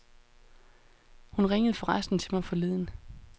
Hun ringede forresten til mig forleden.